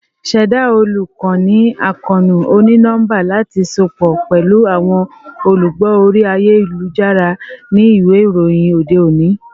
Ṣẹda olukoni akoonu oni-nọmba lati sopọ pẹlu awọn olugbo ori ayelujara ni iwe iroyin ode oni